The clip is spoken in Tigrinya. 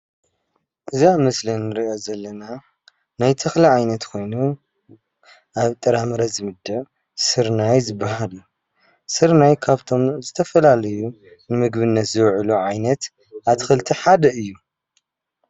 እዛ ኣብ ምስሊ እንሪኣ ዘለና ናይ ተክሊ ዓይነት ኮይኑ ኣብ ጥራምረ ዝምደብ ስርናይ ዝባሃል እዩ፡፡ ስርናይ ካብቶም ዝተፈላለዩ ንምግብነት ዝውዕል ዓይነት ኣትክልቲ ሓደ እዩ፡፡